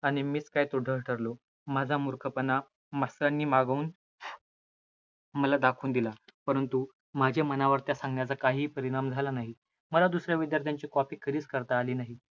आणि मीच काय तो ढ ठरलो, माझा मूर्खपणा मास्तरांनी मागाहून मला दाखवून दिला. परंतु माझ्या मनावर त्या सांगण्याचा काही परिणाम झाला नाही. मला दुस-या विद्यार्थ्याची copy कधीच करता आली नाही.